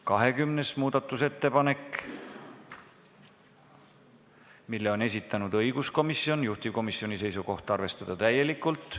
20. muudatusettepaneku on esitanud õiguskomisjon, juhtivkomisjoni seisukoht: arvestada seda täielikult.